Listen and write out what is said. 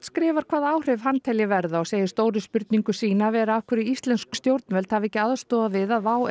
skrifar hvaða áhrif hann telji verða og segir stóru spurningu sína vera af hverju íslensk stjórnvöld hafi ekki aðstoðað við að WOW